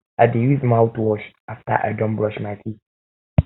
i dey use mouthwash after i don brush my teeth